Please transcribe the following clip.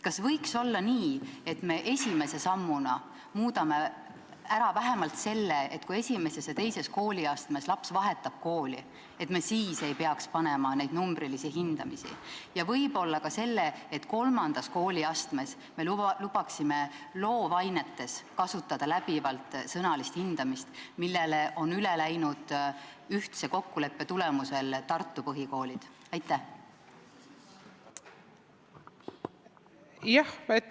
Kas võiks olla nii, et me esimese sammuna muudame ära vähemalt selle, et kui laps vahetab esimeses või teises kooliastmes kooli, siis ei peaks panema neid numbrilisi hindeid, ja võib-olla ka selle, et kolmandas kooliastmes me lubaksime loovainetes kasutada läbivalt sõnalist hindamist, millele on ühtse kokkuleppe tulemusel üle läinud Tartu põhikoolid?